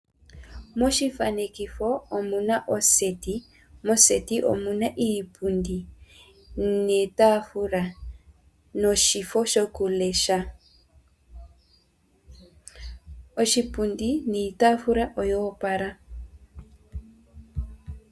Moshithanekitho omuna oseti. Moseti omuna iipundi niitafula, no shifo sho kulesha. oshipundi niitafula oya opala.